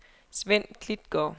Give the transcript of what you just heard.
Svend Klitgaard